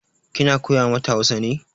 Kina koya mata Hausa ne?